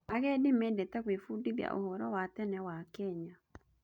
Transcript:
Agendi mendete gwĩbundithia ũhoro wa tene wa Kenya.